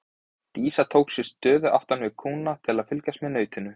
Dísa tók sér stöðu aftan við kúna til að fylgjast með nautinu.